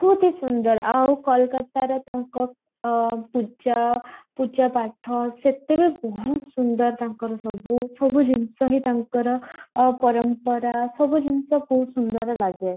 ବହୁତ ହିଁ ସୁନ୍ଦର ଆଉ କୋଲକାତାରେ ତାଙ୍କ ଅଃ ପୂଜା ପୂଜା ପାଠ ସେତେବେଳେ ବହୁତ ସୁନ୍ଦର ତାଙ୍କର ସବୁ ସବୁ ଜିନିଷ ହିଁ ତାଙ୍କର ପରମ୍ପରା ସବୁ ଜିନିଷ ବହୁତ ସୁନ୍ଦର ଲାଗେ